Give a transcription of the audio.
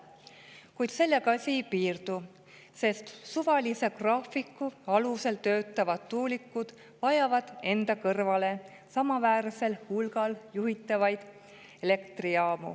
Kuid sellega asi ei piirdu, sest suvalise graafiku alusel töötavad tuulikud vajavad enda kõrvale juhitavaid elektrijaamu samaväärsel hulgal.